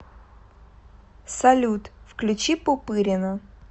салют включи пупырина